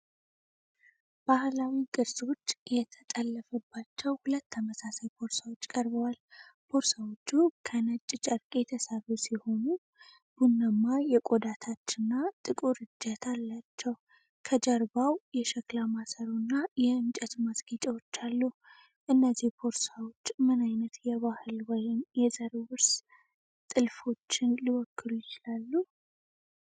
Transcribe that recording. ባህላዊ ቅርጾች የተጠለፉባቸው ሁለት ተመሳሳይ ቦርሳዎች ቀርበዋል። ቦርሳዎቹ ከነጭ ጨርቅ የተሰሩ ሲሆኑ ቡናማ የቆዳ ታች እና ጥቁር እጀታ አላቸው። ከጀርባው የሸክላ ማሰሮ እና የእንጨት ማስጌጫዎች አሉ። እነዚህ ቦርሳዎች ምን ዓይነት የባህል ወይም የዘር ውርስ ጥልፎችን ሊወክሉ ይችላሉ?